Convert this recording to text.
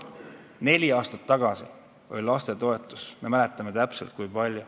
Me mäletame täpselt, kui suur oli lastetoetus neli aastat tagasi.